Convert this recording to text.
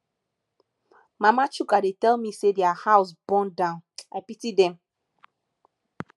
mama chuka dey tell me say their house burn down i pity dem